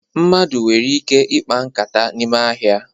Mmadụ nwere ike ikpa nkata n'ime ahịa